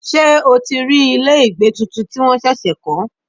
Ṣé o ti rí ilé ìgbé tuntun tí wọ́n ṣẹ̀ṣẹ̀ kọ́?